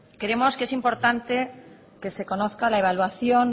creemos que es importante que se conozca la evaluación